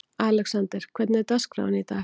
Alexander, hvernig er dagskráin í dag?